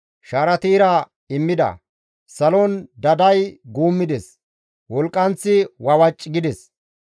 Shaarati ira immida; salon daday guummides; wolqqanththi wawaci gides.